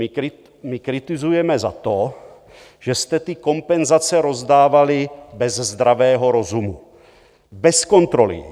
My kritizujeme za to, že jste ty kompenzace rozdávali bez zdravého rozumu, bez kontroly.